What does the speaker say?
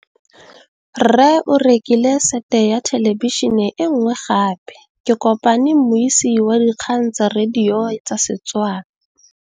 Rre o rekile sete ya thêlêbišênê e nngwe gape. Ke kopane mmuisi w dikgang tsa radio tsa Setswana.